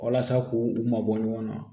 Walasa k'u mabɔ ɲɔgɔn na